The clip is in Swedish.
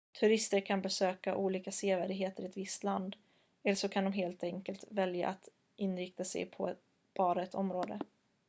turister kan besöka olika sevärdheter i ett visst land eller så de kan helt enkelt välja att inrikta sig på bara ett område